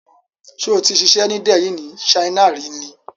Ṣó ti ṣiṣę ni Delhi ni China rí ni?